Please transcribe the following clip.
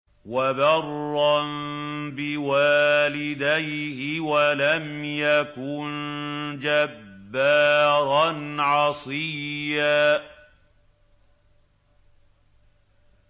وَبَرًّا بِوَالِدَيْهِ وَلَمْ يَكُن جَبَّارًا عَصِيًّا